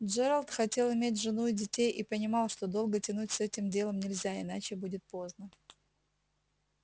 джералд хотел иметь жену и детей и понимал что долго тянуть с этим делом нельзя иначе будет поздно